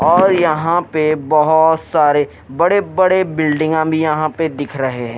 और यहां पे बहुत सारे बड़े-बड़े बिल्डिंग आ वि हम यहां पे दिख रहे हैं।